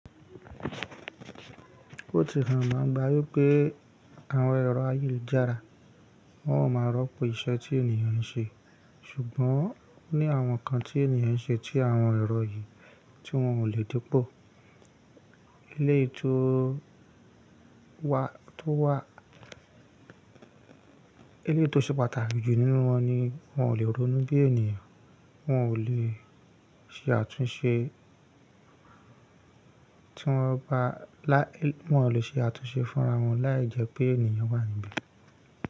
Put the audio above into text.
Ó ti hàn gbangba wí pé àwọn ẹ̀rọ ayélujára wọn a máa rọ́pò iṣẹ́ tí ènìyàn ń ṣe, ṣùgbọ́n ó ní àwọn ǹkan tí ènìyàn ń ṣe tí àwọn ẹ̀rọ yìí tí wọn ò lè dípò. Eléyìí tó wà, tó wà, eléyìí tó ṣe pàtàkì jù nínú wọn ni wọ́n ò lè ronú bí ènìyàn, wọ́n ò lè ṣe àtúnṣe, tí wọ́n bá láì, wọ́n ò lè ṣe àtúnṣe fúnra wọn láìjẹ́ pé ènìyàn wà níbí.